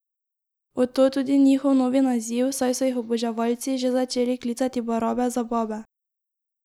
Od tod tudi njihov novi naziv, saj so jih oboževalci že začeli klicati Barabe za babe!